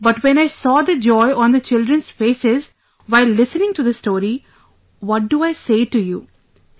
But when I saw the joy on the children's faces while listening to the story, what do I say to you...